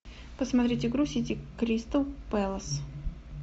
посмотреть игру сити кристал пэлас